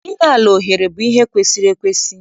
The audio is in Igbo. Inye ala ohere bụ ihe kwesiri ekwesi.